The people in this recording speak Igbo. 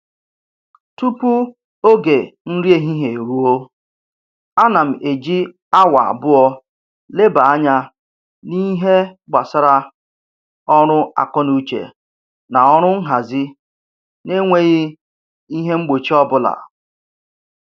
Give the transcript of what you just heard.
Tupu oge nri ehihie eruo, ana m eji awa abụọ leba anya n'ihe gbasara ọrụ akọnuche na ọrụ nhazi na-enweghị ihe mgbochi ọbụla